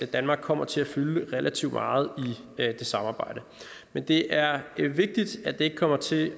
danmark kommer til at fylde relativt meget i det samarbejde men det er vigtigt at det ikke kommer til